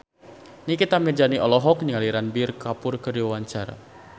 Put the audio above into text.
Nikita Mirzani olohok ningali Ranbir Kapoor keur diwawancara